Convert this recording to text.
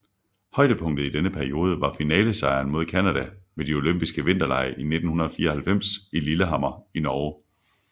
Højdepunktet i denne periode var finalesejren mod Canada ved de olympiske vinterlege i 1994 i Lillehammer i Norge